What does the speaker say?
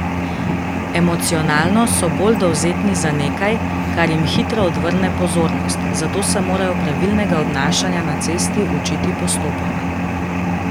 Emocionalno so bolj dovzetni za nekaj, kar jim hitro odvrne pozornost, zato se morajo pravilnega obnašanja na cesti učiti postopoma.